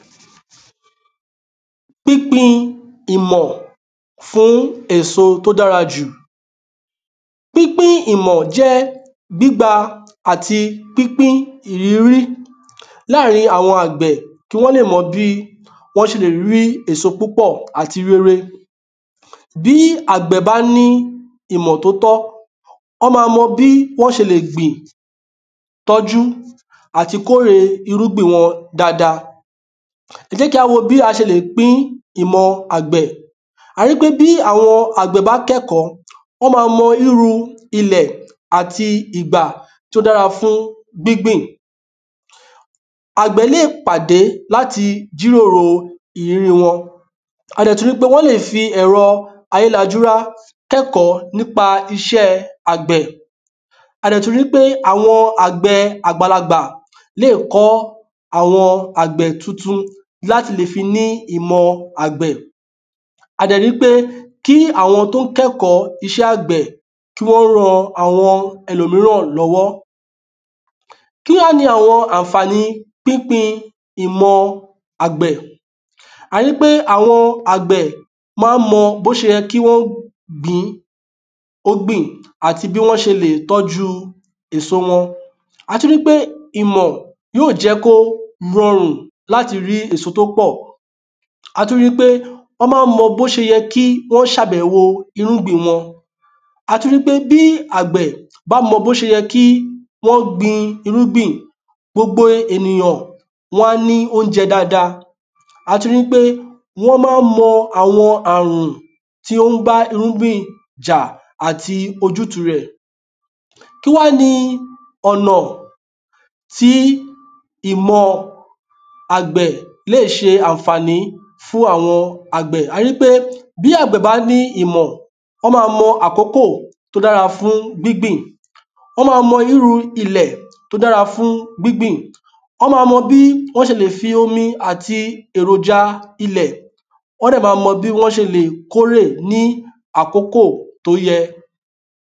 pínpin ìmọ̀ fún èso tó dára jù pínpín ìmọ̀ jẹ́ gbígbà àti pínpín ìrírí láàrín àwọn àgbẹ̀ kí wọ́n lè mọ bí wọ́n ṣe lè rí èso púpọ̀ àti rere Bí àgbẹ̀ bá ní ìmọ̀ tó tọ́, wọ́n máa mọ bí wọ́n ṣe lè gbìn, tọ́jú àti kóre irúgbin wọn dáadáa ẹ jẹ́ kí á wo bí a ṣe lè pín ìmọ̀ àgbẹ̀, a ríi pé bí àwọn àgbẹ̀ bá kẹ́kọ̀ọ́, wọ́n ma mọ irú ilẹ̀ àti ìgbà tó dára fún gbíngbìn àgbẹ̀ lè pàdé láti jíròrò ìríri wọn, a dẹ̀ tún ríi pé wọ́n lè fi ẹ̀ro ayélajúra kọ́ ẹ̀kọ́ nípa iṣẹ́ àgbẹ̀ a dẹ̀ tún ríi pé àwọn àgbẹ̀ àgbàlagbà lé ko àwọn tuntun láti lè fi ní ìmọ̀ àgbẹ́ a dẹ̀ ríi pé kí àwọn tí ó kẹ́kọ̀ọ́ iṣẹ́ àgbẹ̀ kí wọ́n ran àwọn ẹlòmíràn lọ́wọ́. Kí wá ni àwọn àǹfàni pínpín ìmọ àgbẹ̀ a ríi pé àwọn àgbẹ̀ ma ń mọ bí ó ṣe yẹ kí wọ́n gbin àti bí wọ́n ṣe lè tọ́ju èso wọn A tún ríi pé ó lè jẹ́ kí ó rọrùn láti rí èso tí ó pọ̀, a tún ríi pé wọ́n máa mọ bí ó ṣe yẹ kí wọ́n ṣe àbẹ̀wo irúgbìn wọn a tún ríi pé bí àgbẹ̀ bá mọ́ bí ó ṣe yẹ kí wọ́n gbin irúgbìn, gbogbo ènìyàn wọn á ní oúnjẹ dáadáa a tún ríi pé wọ́n ma ń mọ àwọn àrùn tí ó ń bá irúgbìn jà àti ojútu rẹ̀ kí wá ni ọ̀nà tí ìmọ̀ àgbẹ̀ lè ṣe àǹfàní fún ìmọ̀ àgbẹ̀, a ríi pé bí àgbẹ̀ bá ní ìmọ̀ wọ́n máa mọ àkókò tí ó dára fún gbíngbìn wọ́n máa mọ irú ilẹ̀ tó dára fún gbíngbìn, wọ́n máa mọ bí wọ́n ṣe lè fi omi àti èròjà ilẹ̀, wọ́n dẹ̀ máa mọ bí wọ́n ṣe lè kórè ní àkókò tó yẹ